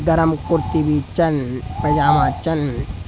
गरम कुर्ती बी छन पेजमा छन।